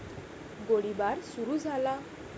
गोळीबार सुरू झाला.